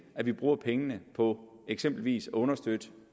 at vi bruger pengene på eksempelvis at understøtte